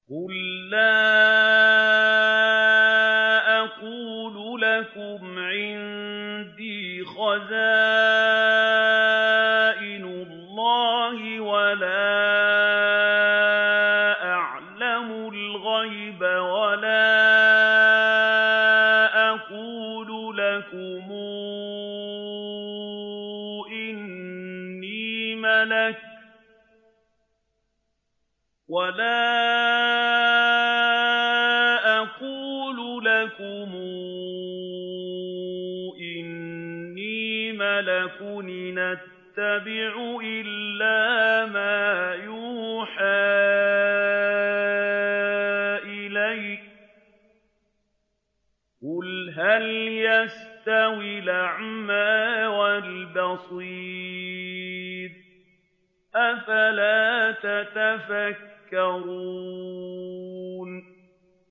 قُل لَّا أَقُولُ لَكُمْ عِندِي خَزَائِنُ اللَّهِ وَلَا أَعْلَمُ الْغَيْبَ وَلَا أَقُولُ لَكُمْ إِنِّي مَلَكٌ ۖ إِنْ أَتَّبِعُ إِلَّا مَا يُوحَىٰ إِلَيَّ ۚ قُلْ هَلْ يَسْتَوِي الْأَعْمَىٰ وَالْبَصِيرُ ۚ أَفَلَا تَتَفَكَّرُونَ